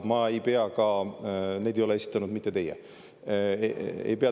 Neid ei ole esitanud mitte teie.